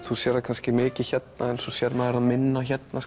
þú sérð það kannski mikið hérna en svo sér maður það minna hérna